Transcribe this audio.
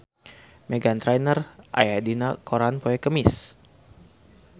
Meghan Trainor aya dina koran poe Kemis